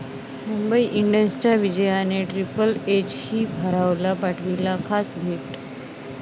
मुंबई इंडियन्सच्या विजयाने 'ट्रिपल एच'ही भारावला, पाठवली खास भेट